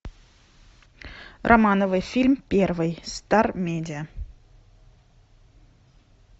романовы фильм первый стар медиа